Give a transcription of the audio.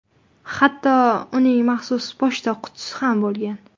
Hatto uning maxsus pochta qutisi ham bo‘lgan.